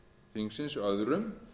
þingsins öðrum